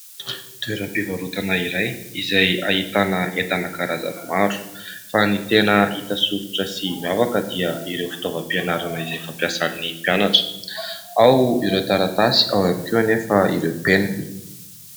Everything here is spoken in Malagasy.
Toeram-pivarotana iray izay ahitana entana karazany maro fa ny tena hita soritra sy miavaka dia ireo fitaovam-pianarana izay fampiasany mpianatra, ao ireo taratasy ao ihany koa anefa ireo penina.